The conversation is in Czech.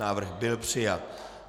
Návrh byl přijat.